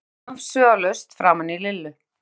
Hún gretti sig umsvifalaust framan í Lillu.